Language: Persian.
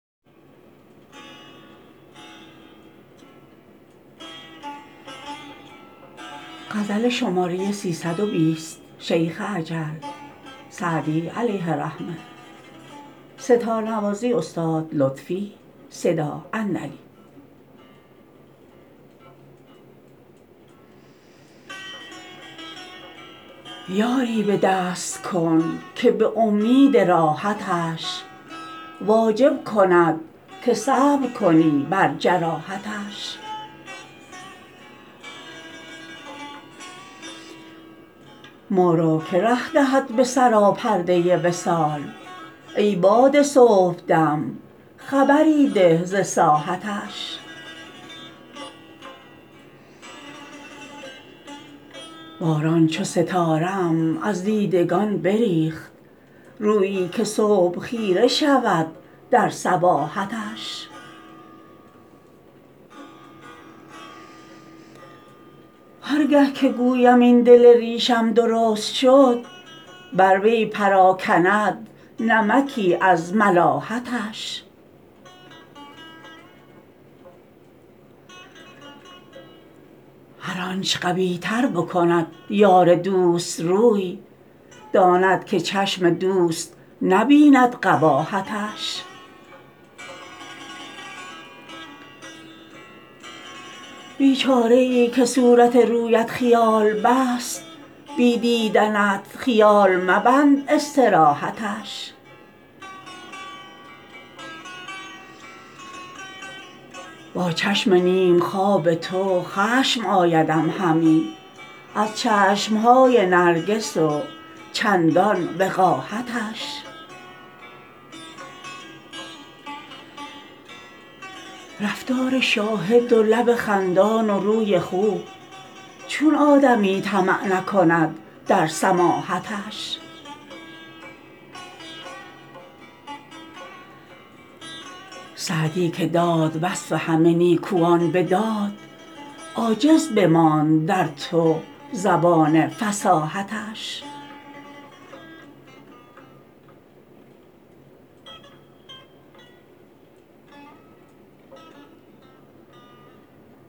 یاری به دست کن که به امید راحتش واجب کند که صبر کنی بر جراحتش ما را که ره دهد به سراپرده وصال ای باد صبح دم خبری ده ز ساحتش باران چون ستاره ام از دیدگان بریخت رویی که صبح خیره شود در صباحتش هر گه که گویم این دل ریشم درست شد بر وی پراکند نمکی از ملاحتش هرچ آن قبیح تر بکند یار دوست روی داند که چشم دوست نبیند قباحتش بیچاره ای که صورت رویت خیال بست بی دیدنت خیال مبند استراحتش با چشم نیم خواب تو خشم آیدم همی از چشم های نرگس و چندان وقاحتش رفتار شاهد و لب خندان و روی خوب چون آدمی طمع نکند در سماحتش سعدی که داد وصف همه نیکوان به داد عاجز بماند در تو زبان فصاحتش